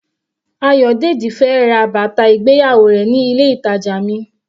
Ayodeji fẹ́ ra bàtà ìgbéyàwó rẹ̀ ní ilé ìtàjà mi.